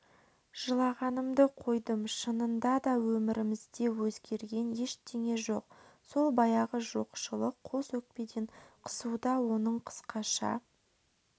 жылағанымды қойдым шынында да өмірімізде өзгерген ештеңе жоқ сол баяғы жоқшылық қос өкпеден қысуда оның қысқаша